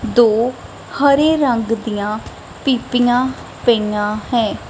ਦੋ ਹਰੇ ਰੰਗ ਦੀਆਂ ਪੀਪਿਆਂ ਪਈਆਂ ਹੈਂ।